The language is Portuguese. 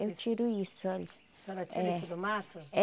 Eu tiro isso, olha. A senhora tira isso do mato? É